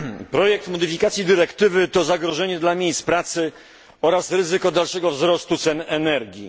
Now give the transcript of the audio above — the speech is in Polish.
Projekt modyfikacji dyrektywy to zagrożenie dla miejsc pracy oraz ryzyko dalszego wzrostu cen energii.